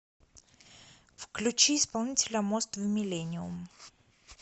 включи исполнителя мост в миллениум